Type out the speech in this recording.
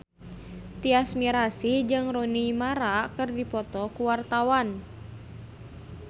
Tyas Mirasih jeung Rooney Mara keur dipoto ku wartawan